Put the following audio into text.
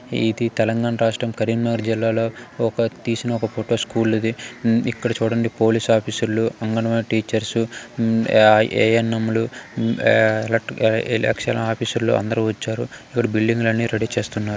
ఇది తెలంగాణ రాష్ట్రం కరీంనగర్ జిల్లాలో ఒక తీసిన ఒక ఫోటో స్కూల్ ఇది. ఉమ్ ఇక్కడ చూడండి పోలీస్ ఆఫీసర్ లు అంగన్వాడీ టీచర్ ఉమ య ఏ ఎన్ ఎం లు ఎలెక్టర్--ఎలెక్షన్ ఆఫీసర్ లు అందరు వచ్చారు. ఇక్కడ బిల్డింగ్ అన్ని రెఢీ చేస్తున్నారు